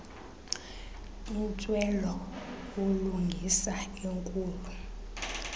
intswelo bulungisa enkulu